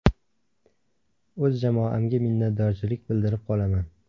O‘z jamoamga minnatdorchilik bildirib qolaman.